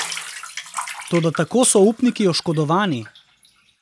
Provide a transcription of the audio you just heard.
Toda tako so upniki oškodovani.